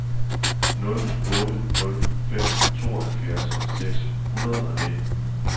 nul otte nul fem tooghalvfjerds seks hundrede og nitten